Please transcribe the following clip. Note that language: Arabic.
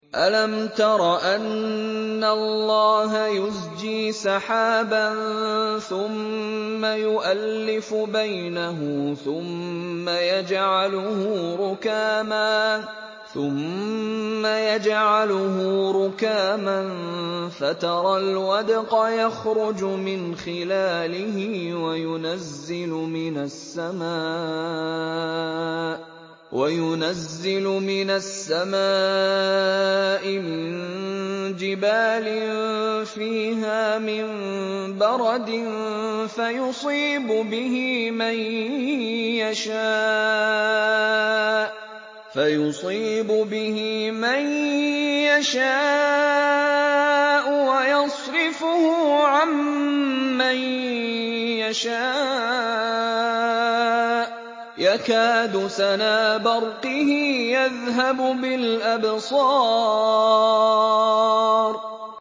أَلَمْ تَرَ أَنَّ اللَّهَ يُزْجِي سَحَابًا ثُمَّ يُؤَلِّفُ بَيْنَهُ ثُمَّ يَجْعَلُهُ رُكَامًا فَتَرَى الْوَدْقَ يَخْرُجُ مِنْ خِلَالِهِ وَيُنَزِّلُ مِنَ السَّمَاءِ مِن جِبَالٍ فِيهَا مِن بَرَدٍ فَيُصِيبُ بِهِ مَن يَشَاءُ وَيَصْرِفُهُ عَن مَّن يَشَاءُ ۖ يَكَادُ سَنَا بَرْقِهِ يَذْهَبُ بِالْأَبْصَارِ